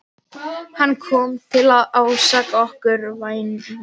Hann kom til að ásaka okkur, vænan.